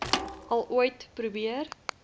al ooit probeer